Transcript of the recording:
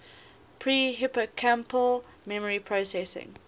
pre hippocampal memory processing